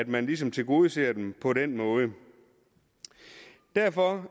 man ligesom tilgodeser dem på den måde derfor